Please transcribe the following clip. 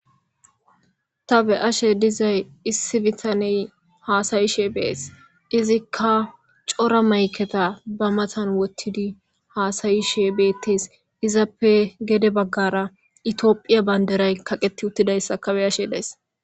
Ta be ashe dizay issi bitaney haasayishe bees izikka cora mayketa ba matan wottidi haasayishe beettes izappe gede baggara itiophiya baynderay kaqeti uttidayssa kabe ashe dees.